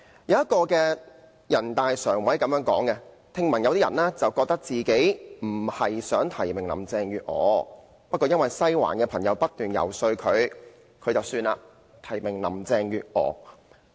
有人大常委曾說過，聽聞有些選舉委員會委員本身並非想提名林鄭月娥，但因為"西環"的朋友不斷遊說，所以便提名林鄭月娥。